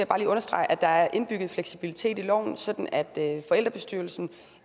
understrege at der er indbygget en fleksibilitet i loven sådan at forældrebestyrelsen